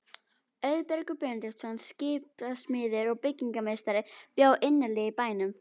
Auðbergur Benediktsson, skipasmiður og byggingarmeistari, bjó innarlega í bænum.